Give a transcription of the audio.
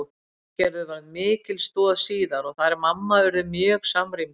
Ingigerður varð mikil stoð síðar og þær mamma urðu mjög samrýmdar.